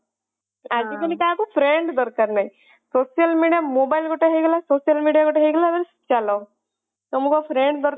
ଆଜି କଲି କାହାକୁ friend ଦରକାର ନହିଁ social media mobile ଗୋଟେ ହେଇଗଲା social media ଗୋଟେ ହେଇଗଲା ଚାଲ ତମକୁ ଆଉ friend